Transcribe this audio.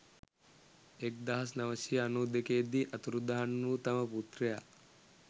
එක්දහස් නවසිය අනු දෙකේ දී අතුරුදහන් වූ තම පුත්‍රයා